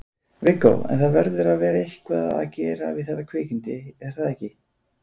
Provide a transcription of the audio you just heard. Viggó: En það verður eitthvað að gera við þetta kvikindi er það ekki?